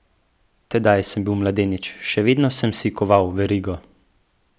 Tedaj sem bil mladenič, še vedno sem si koval verigo.